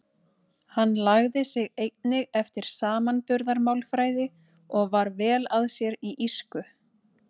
Hann lagði sig einnig eftir samanburðarmálfræði og var vel að sér í írsku.